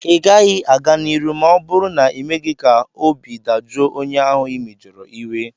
ị gaghị a-ga n'iru ma ọ bụrụ na ịmeghị ka obi dajụọ onye ahụ ị mejọrọ iwe